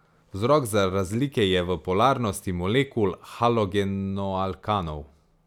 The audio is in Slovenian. Vzrok za razlike je v polarnosti molekul halogenoalkanov.